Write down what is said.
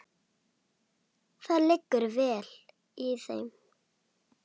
Þannig verður líka að fara.